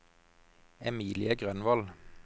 Emilie Grønvold